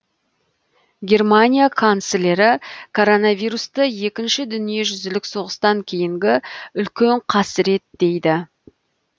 германия канцлері коронавирусты екінші дүниежүзілік соғыстан кейінгі үлкен қасірет дейді